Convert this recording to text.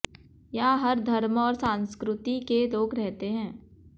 यहां हर धर्म और सांस्कृति के लोग रहते हैं